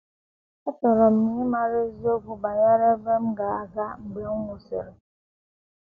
Achọrọ m ịmara eziokwu banyere ebe m ga - aga mgbe m nwụsịrị.